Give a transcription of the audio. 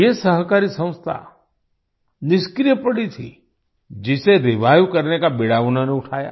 ये सहकारी संस्था निष्क्रिय पड़ी थी जिसे रिवाइव करने का बीड़ा उन्होंने उठाया